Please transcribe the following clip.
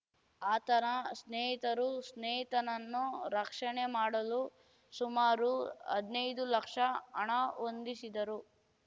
ಆತನ ಸ್ನೇಹಿತರು ಸ್ನೇಹಿತನನ್ನು ರಕ್ಷಣೆ ಮಾಡಲು ಸುಮಾರು ಹದ್ನೈದು ಲಕ್ಷ ಹಣ ಹೊಂದಿಸಿದರು